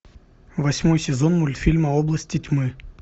восьмой сезон мультфильма области тьмы